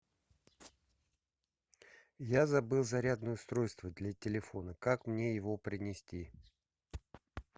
я забыл зарядное устройство для телефона как мне его принести